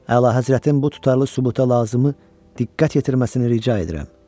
Əlahəzrətin bu tutarlı sübuta lazımı diqqət yetirməsini rica edirəm.